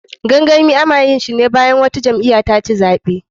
Gangami, ana yinshine bayan wata jam'iya taci zaɓe.